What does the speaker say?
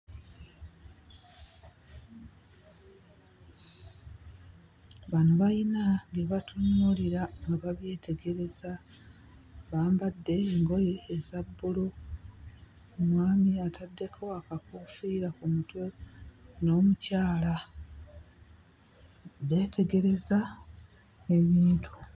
Bano bayina bye batunuulira ne babyetegereza bambadde engoye eza bbulu, omwami ataddeko akakoofiira ku mutwe n'omukyala. Beetegereza ebintu.